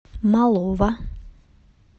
малова